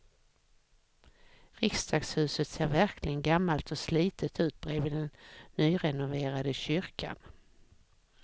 Riksdagshuset ser verkligen gammalt och slitet ut bredvid den nyrenoverade kyrkan.